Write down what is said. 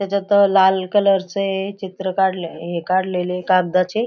त्याच्यात अ लाल कलर चे अ चित्र काढले आहे हे काढलेले ये कागदाचे.